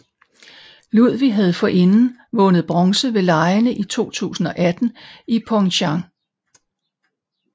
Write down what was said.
Ludwig havde forinden vundet bronze ved legene i 2018 i Pyeongchang